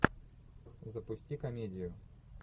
запусти комедию